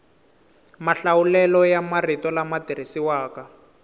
mahlawulelo ya marito lama tirhisiwaka